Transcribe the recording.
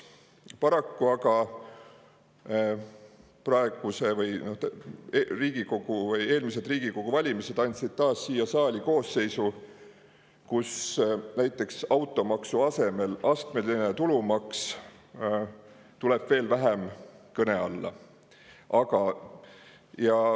Paraku aga andsid eelmised Riigikogu valimised taas siia saali koosseisu, mille puhul näiteks automaksu asemel astmeline tulumaks tuleb veel vähem kõne alla.